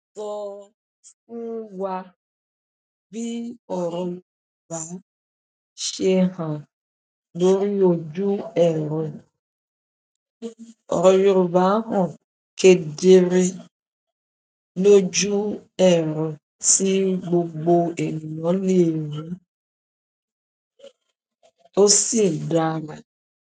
Sọ fún wa bí Yorùbá ṣe hàn lórí ojú ẹrù. Yorùbá han kedere loju ero ti gbogbo ènìyàn le ri ó sì dára.